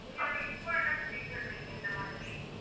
நீங்க வந்து, இப்ப என்ன check பண்ணுவீங்க இந்த மாதிரி